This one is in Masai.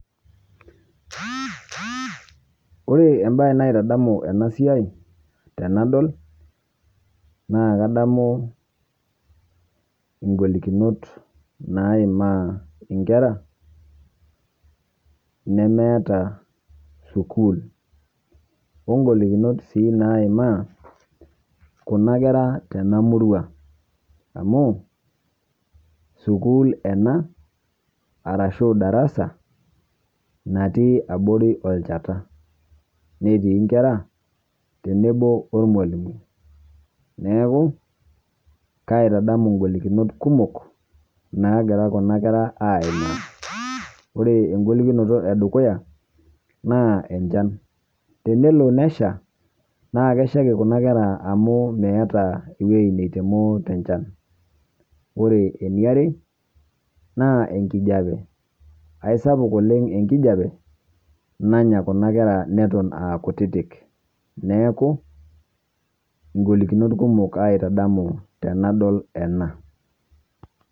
Ore ebaye naitadamu ana siai tenadol naa kadamu ng'olikinot naimaa nkerra nemeeta sukuul. Ong'olikinot sii naimaa kuna nkerra tena murua, amu sukuul ena arashu ldarasa natii aborii oljaata netii nkerra teneboo olmalimui. Neeku kaitadamu ng'olikinot kumook nagiraa kuna nkerra aimaa. Ore eng'olikinoto edukuya naa echaan, teneloo neshaa neku keishaaki kuna nkerra amu meeta wueji neitomoo te chaan. Ore enia aare naaku enkijape aisapuuk oleng enkijape nanyaa kuna nkerra netoon akutitik. Neeku ng'olikinot kumook eitadamu tenenadol ena.